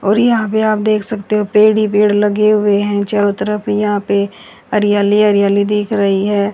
और यहाँ पे आप देख सकते हो पेड ही पेड़ लगे हुए हैं चारों तरफ यहाँ पे हरियाली हरियाली दिख रहीं हैं।